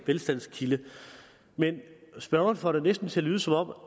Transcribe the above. velstandskilde men spørgeren får det næsten til at lyde som om